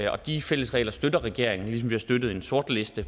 og de fælles regler støtter regeringen ligesom vi har støttet en sortliste